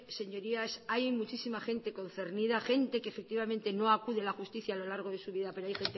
señorías hay muchísima gente concernida gente que efectivamente no acude a la justicia a lo largo de su vida pero hay